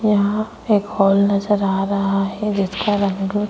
यहां एक हॉल नजर आ रहा है जिसका रंग --